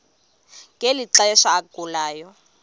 ngeli xesha agulayo